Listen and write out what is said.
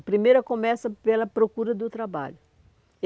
A primeira começa pela procura do trabalho.